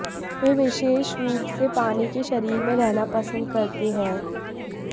वे विशेष रूप से पानी के शरीर में रहना पसंद करते हैं